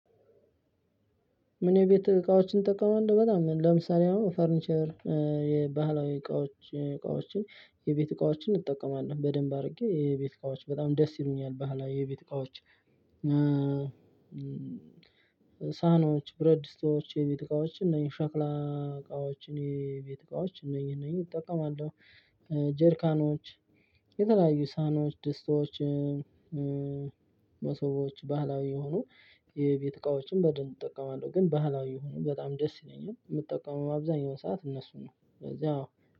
ምን የቤት እቃዎችን ትጠቀማለህ? በጣም ለምሳሌ አሁን ፈርኒቸር የባህላዊ እቃዎች እቃዎችን የቤት እቃዎችን እጠቀማለሁ በደንብ አድርጌ የቤት እቃዎች በጣም ደስ ይሉኛል ባህላዊ የቤት እቃዎች። ሳይኖች ብረት ድስቶች የቤት እቃዎች እነኚህ ሸክላ እቃዎች እኔ ቤት እቃዎች እነኚህ እነኚህ እጠቀማለሁ። ጀርካኖች የተለያዩ ሳይኖች ደስቶች። መሶቦች ባህላዊ የሆኑ የቤት ዕቃዎችም በደንብ እጠቀማለሁ። ግን ባህላዊ የሆኑ በጣም ደስ ይለኛል የምጠቀመው አብዛኛው ሰዓት እነሱ ነው። ስለዚህ አዎ